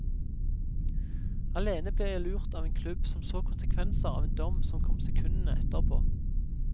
Alene ble jeg lurt av en klubb som så konsekvenser av en dom som kom sekundene etterpå.